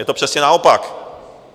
Je to přesně naopak.